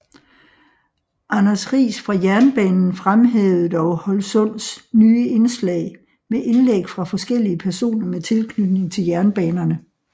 Anders Riis fra Jernbanen fremhævede dog Holsunds nye indslag med indlæg fra forskellige personer med tilknytning til jernbanerne